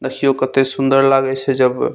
देखियो कते सुंदर लागे छे जब --